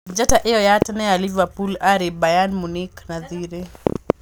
Njata ĩyo ya tene ya Liverpool ari Bayern Munich na thirĩ